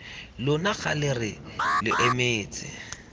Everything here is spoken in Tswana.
lona kgale re lo emetse